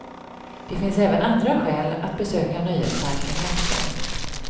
Det finns även andra skäl att besöka nöjesparken i afton.